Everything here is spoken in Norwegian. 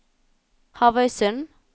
Havøysund